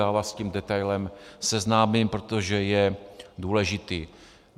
Já vás s tím detailem seznámím, protože je důležitý.